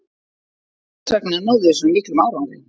Þessvegna náðum við svona miklum árangri.